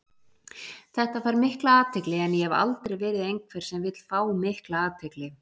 Þetta fær mikla athygli en ég hef aldrei verið einhver sem vill fá mikla athygli.